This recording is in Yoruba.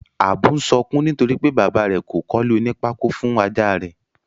Ábú n sokún nítorípé bàba rè kò kólé oní pákó fun Ajá rẹ́.